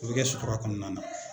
O bɛ kɛ sutura kɔnɔna na.